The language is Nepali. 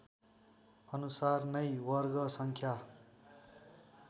अनुसार नै वर्गसङ्ख्या